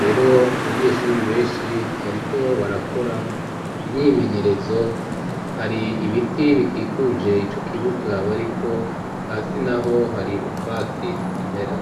rero mu banyeshuri benshi bariko barakora imyimenyerezo hari ibiti bikikuje ico kibuga gaba ari ko hasi na ho hari utwatsi tukimera.